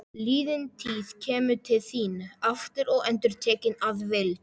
Liðin tíð kemur til þín aftur og endurtekin að vild.